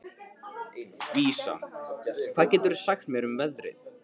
Vísa, hvað geturðu sagt mér um veðrið?